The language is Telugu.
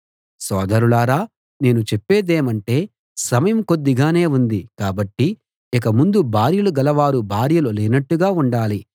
సోదరులారా నేను చెప్పేదేమంటే సమయం కొద్దిగానే ఉంది కాబట్టి ఇక ముందు భార్యలు గలవారు భార్యలు లేనట్టుగా ఉండాలి